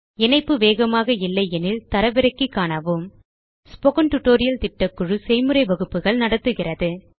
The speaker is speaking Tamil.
இணைப்பு வேகமாக இல்லையெனில் தரவிறக்கி காணவும் ஸ்போக்கன் டியூட்டோரியல் திட்டக்குழு செய்முறை வகுப்புகள் நடத்துகிறது